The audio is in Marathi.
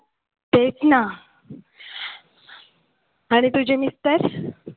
तेच ना आणि तुझे mister